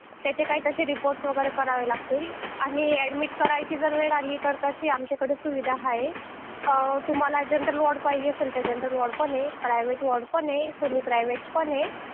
त्याचे काय तरी अहवाल वगैरे करावे लागतील आणि ऍडमिट करायची जर वेळ आली तर तशी आमच्याकडे सुविधा आहे तुम्हाला वॉर्ड पाहिजे असेल तर सामान्य वॉर्ड पण आहे खाजगी पण आहे अर्ध खाजगी पण आहे